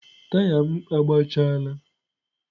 taya m agbachaala.